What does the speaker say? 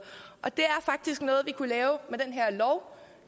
det er faktisk noget vi kunne lave med den her lov